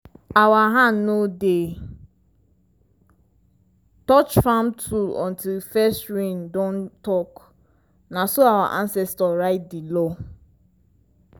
our hand no dey touch farm tool until first rain don talk na so our ancestors write di law.